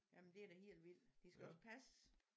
Jamen det er da helt vildt de skal også passes